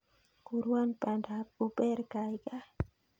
Kurwan panda ap uber kaigaigai